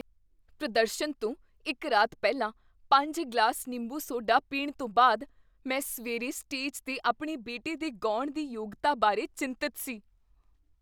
ਪ੍ਰਦਰਸ਼ਨ ਤੋਂ ਇੱਕ ਰਾਤ ਪਹਿਲਾਂ ਪੰਜ ਗਲਾਸ ਨਿੰਬੂ ਸੋਡਾ ਪੀਣ ਤੋਂ ਬਾਅਦ ਮੈਂ ਸਵੇਰੇ ਸਟੇਜ 'ਤੇ ਆਪਣੇ ਬੇਟੇ ਦੇ ਗਾਉਣ ਦੀ ਯੋਗਤਾ ਬਾਰੇ ਚਿੰਤਤ ਸੀ